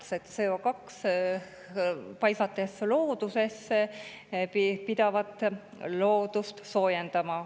Kui CO2 loodusesse paisatakse, pidavat see loodust soojendama.